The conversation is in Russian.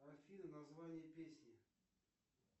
афина название песни